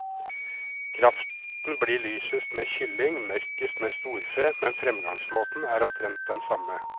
Kraften blir lysest med kylling, mørkest med storfe, men fremgangsmåten er omtrent den samme.